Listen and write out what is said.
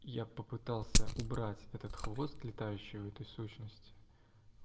я попытался убрать этот хвост летающий у этой сущности